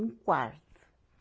Um quarto.